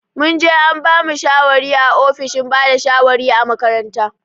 Mun je an bamu shawari a ofishin bada shawari a makaranta.